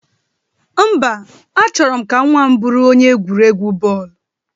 Mba, A chọrọ m ka nwa m bụrụ onye egwuregwu bọọlụ